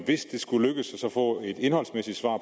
det skulle lykkes at få et indholdsmæssigt svar